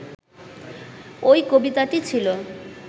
ওই কবিতাটি ছিল